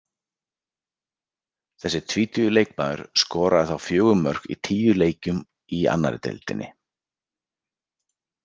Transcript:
Þessi tvítugi leikmaður skoraði þá fjögur mörk í tíu leikjum í annarri deildinni.